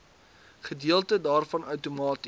gedeelte daarvan outomaties